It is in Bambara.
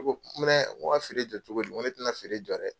N ko ka feere jɔ cogodi, n ko ne tɛ na feere jɔ dɛ.